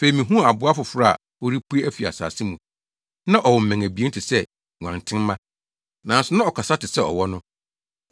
Afei mihuu aboa foforo a ɔrepue afi asase mu. Na ɔwɔ mmɛn abien te sɛ nguantenmma, nanso na ɔkasa te sɛ ɔwɔ no.